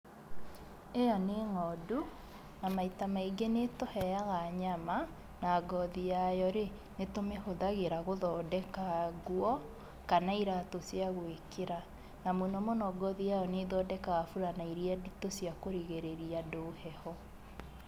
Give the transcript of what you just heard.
Ĩyo nĩ ng'ondu, na maĩta maingĩ ni ĩtũheaga nyama, na ngothi yayorĩ, nĩtũmĩhũthagĩra gũthondeka nguo kana ĩratũ cia gwĩkĩra. Na mũnomũno ngothi yayo nĩ ĩthondekaga burana iria nditũ cia kũrigĩrĩria andũ heho.